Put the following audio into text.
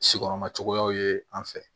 Si kɔrɔma cogoyaw ye an fɛ